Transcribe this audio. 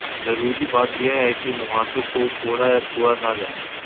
ज़रूरी बात ये है कि मुंहासों को फोड़ा या छुआ ना जाए